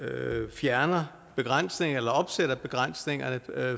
fjerner begrænsningerne eller opsætter begrænsningerne